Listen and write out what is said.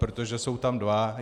Protože jsou tam dva.